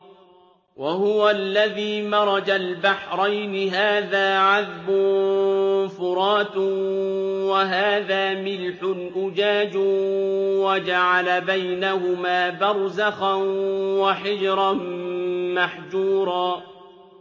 ۞ وَهُوَ الَّذِي مَرَجَ الْبَحْرَيْنِ هَٰذَا عَذْبٌ فُرَاتٌ وَهَٰذَا مِلْحٌ أُجَاجٌ وَجَعَلَ بَيْنَهُمَا بَرْزَخًا وَحِجْرًا مَّحْجُورًا